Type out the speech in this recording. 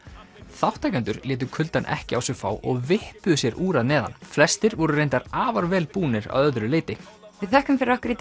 þátttakendur létu kuldann ekki á sig fá og sér úr að neðan flestir voru reyndar afar vel búnir að öðru leyti við þökkum fyrir okkur í